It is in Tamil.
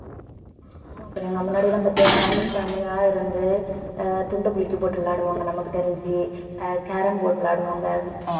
ஆமா பிரியங்கா முன்னாடி எல்லாம் பாத்தியா family family ஆ இருந்து ஆஹ் துண்டு குலுக்கி போட்டு விளையாடுவாங்க நமக்கு தெரிஞ்சு ஆஹ் carrom board விளையாடுவாங்க